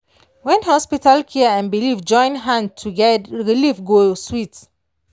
when hospital care and belief join hand relief go sweet.